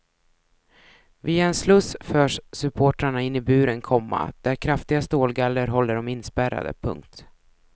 Via en sluss förs supportrarna in i buren, komma där kraftiga stålgaller håller dem inspärrade. punkt